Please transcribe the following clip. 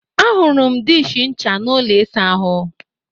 Ahụrụ m diishi ncha n'ụlọ ịsa ahụ